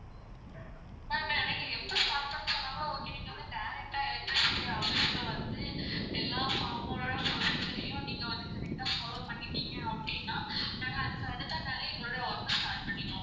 ma'am நீங்க எப்போ start பண்ண சொன்னாகூட okay நீங்க வந்து direct ஆ electricity office க்கு வந்து எல்லா form ஓட procedure யும் நீங்க வந்து correct ஆ follow பண்ணிடீங் அப்படினா நாங்க அதுக்கு அடுத்த நாளே எங்களுடைய work அ start பண்ணிருவோம்.